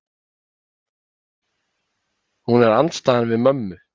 Hún er andstæðan við mömmu.